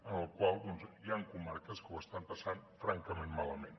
amb la qual cosa hi han comarques que ho estan passant francament malament